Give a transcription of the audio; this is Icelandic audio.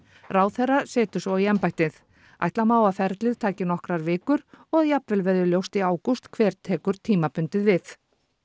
ráðherra setur svo í embættið ætla má að ferlið taki nokkrar vikur og að jafnvel verði ljóst í ágúst hver tekur tímabundið við